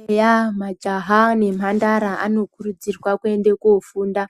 Eya, majaha nemhandara anokurudzirwa kuende kofunda.